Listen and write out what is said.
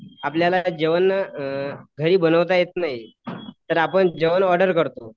आपल्याला जेवण घरी बनवता येत नाही. तर आपण जेवण ऑर्डर करतो.